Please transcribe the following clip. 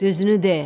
“Düzünü de!